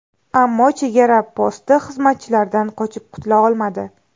Ammo chegara posti xizmatchilaridan qochib qutula olmadi.